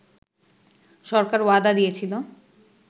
সরকার ওয়াদা দিয়েছিলো